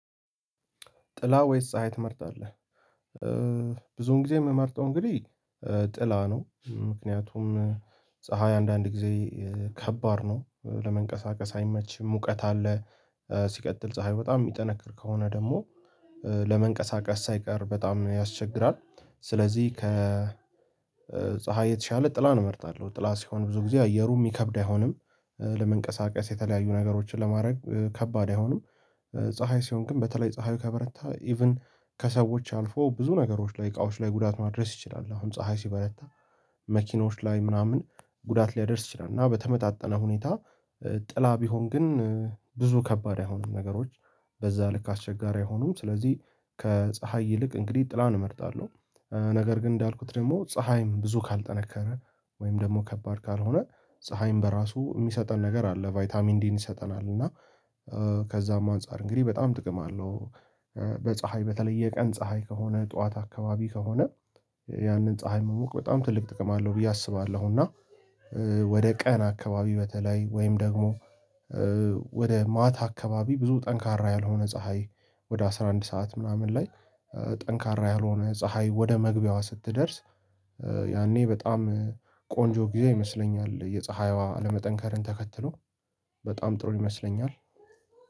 ጥላ ወይስ ፀሀይ ትመርጣለህ? ብዙን ጊዜ የምመርጠው እንግዲህ ጥላ ነው። ምክንያቱም ፀሀይ አንዳንድ ጊዜ ከባድ ነው፤ ለመንቀሳቀስ አይመችም፤ ሙቀት አለ ሲቀጥል ፀሀይ በጣም የሚጠነክር ከሆነ ደግሞ ለመንቀሳቀስ ሳይቀር በጣም ያስቸግራል። ስለዚህ ከ ከፀሀይ የተሻለ ጥላን እመርጣለሁ። ጥላ ሲሆን ብዙ ጊዜ አየሩ የሚከብድ አይሆንም። ለመንቀሳቀስ የተለያዩ ነገሮችን ለማድረግ ከባድ አይሆንም። ፀሀይ ሲሆን ግን በተለይ ፀሀዩ ከበረታ ኢቭን ከሰዎች አልፎ ብዙ ነገሮች ላይ እቃዎች ላይ ጉዳት ማድረስ ይችላል። አሁን ፀሀይ ሲበረታ መኪኖች ላይ ምናምን ጉዳት ሊያደርስ ይችላል። እና በተመጣጠነ ሁኔታ ጥላ ቢሆን ግን ብዙ ከባድ አይሆኑም ነገሮች። በዛ ልክ አስቸጋሪ አይሆኑም። ስለዚህ ከፀሀይ ይልቅ እንግዲህ ጥላን እመርጣለሁ። ነገር ግን እንዳልኩት ደግሞ ፀሀይም ብዙ ካልጠነከረ ወይም ደግሞ ከባድ ካልሆነ ፀሀይም በራሱ የሚሰጠን ነገር አለ ቫይታሚን ዲን ይሰጠናል እና ከዛም አንፃር እንግዲህ በጣም ጥቅም አለው። በፀሀይ በተለይ የቀን ፀሀይ ከሆነ ጠዋት አካባቢ ከሆነ ያንን ፀሀይ መሞቅ በጣም ትልቅ ጥቅም አለው ብዬ አስባለሁ እና ወደ ቀን አካባቢ በተለይ ወይም ደግሞ ወደ ማታ አካባቢ ብዙ ጠንካራ ያልሆነ ፀሀይ ወደ አስራ አንድ ሰዓት ምናምን ላይ ጠንካራ ያልሆነ ፀሀይ ወደ መግቢያዋ ስትደርስ ያኔ በጣም ቆንጆ ጊዜ ይመስለኛል። የፀሀይዋ አለመጠንከርን ተከትሎ በጣም ጥሩ ይመስለኛል።